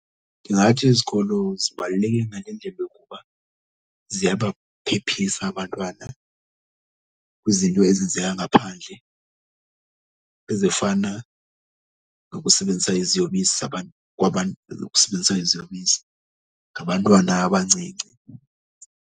Ndingathi izikolo zibaluleke ngale ndlela yokuba ziyabaphephisa abantwana kwizinto ezenzeka ngaphandle ezifana nokusebenzisa iziyobisi nokusebenzisa iziyobisi ngabantwana abancinci.